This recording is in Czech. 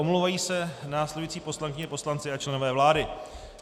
Omlouvají se následující poslankyně, poslanci a členové vlády: